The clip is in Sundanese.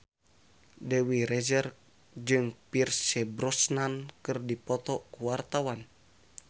Dewi Rezer jeung Pierce Brosnan keur dipoto ku wartawan